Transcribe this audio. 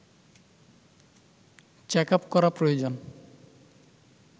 checkup করা প্রয়োজন